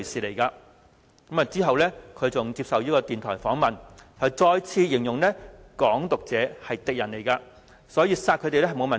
其後他接受電台訪問，再次形容"港獨"者是敵人，所以殺他們沒有問題。